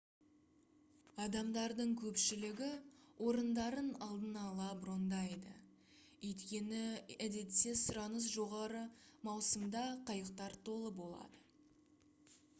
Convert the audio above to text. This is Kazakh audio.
адамдардың көпшілігі орындарын алдын ала брондайды өйткені едетте сұраныс жоғары маусымда қайықтар толы болады